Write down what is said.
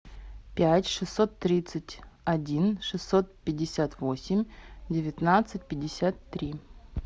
пять шестьсот тридцать один шестьсот пятьдесят восемь девятнадцать пятьдесят три